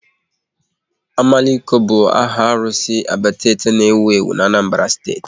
Omaliko bụ áhà arụsị Abatete n'ewu ewu na Anambra Steeti